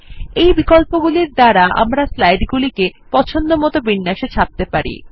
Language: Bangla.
এই বিকল্পগুলির দ্বারা আমরা আমাদের স্লাইড গুলি পছন্দমত বিন্যাসে ছাপতে পারি